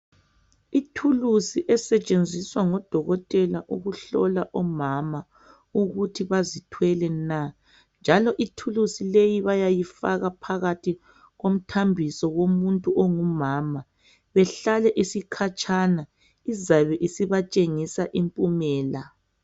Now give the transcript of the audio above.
Ithuluzi esetshenziswa ngodokotela ukuhlola omama ukuthi bazithwele na njalo ithuluzi leyi bayayifaka phakathi komthambiso womuntu ongumama behlale isikhatshana izabe isibatshengisa impumela.